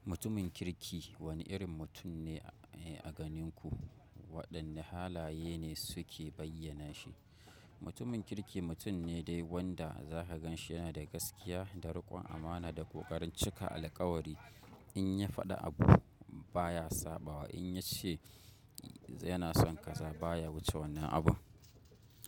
Mutumin kirki wani irin mutum ne a ganin ku? Waɗanne halaye ne suke bayyana shi? Mutumin kirki mutum ne dai wanda zaka gan shi yana da gaskiya, da riƙon amana da ƙoƙarin cika alƙawari. In ya faɗa abu baya saɓawa, in ya ce yana son ka zaba baya wuce wannan abun.